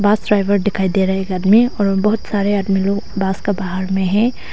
बस ड्राईवर दिखाई दे रहा है एक आदमी और बहुत सारे आदमी लोग बस का बाहर में हैं।